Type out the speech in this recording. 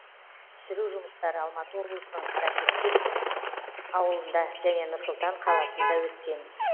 түсіру жұмыстары алматы облысының қарақастек ауылында және нұр сұлтан қаласында өткен